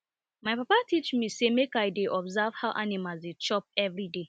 my papa teach me say make i dey observe how animals dey chop every day